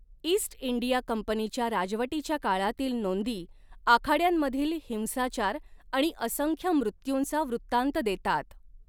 East India कंपनीच्या राजवटीच्या काळातील नोंदी आखाड्यांमधील हिंसाचार आणि असंख्य मृत्यूंचा वृत्तान्त देतात.